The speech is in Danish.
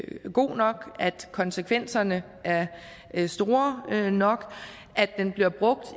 god nok at konsekvenserne er er store nok og at den bliver brugt